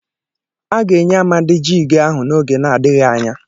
A ga-enye Amadi jiigị ahụ n'oge na-adịghị anya.